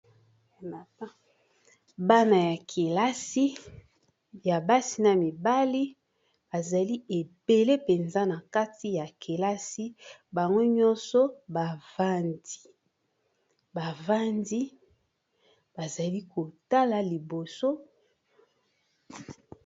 bana ya kelasi ya basi na mibali bazali ebele mpenza na kati ya kelasi bango nyonso bavandi bazali kotala liboso